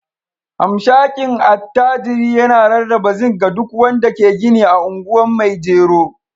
hamshakin attajirin yana rarraba zinc ga duk wanda ke gini a anguwan maijero.